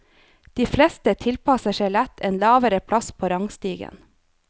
De fleste tilpasser seg lett en lavere plass på rangstigen.